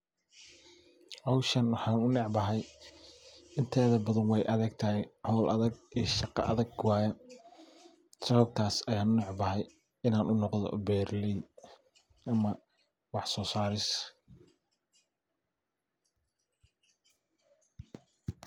Hoowshan waxan ogu necbahay inteedha badhan wey adhagtahay hoowl adhag iyo shaqo adhag waye sawabtaas ayan unecbahay inan unoqdho beraleey ama wax soosaaris